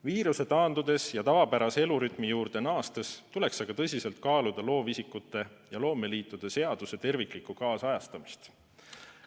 Viiruse taandudes ja tavapärase elurütmi juurde naastes tuleks tõsiselt kaaluda loovisikute ja loomeliitude seaduse terviklikku kaasajastamist.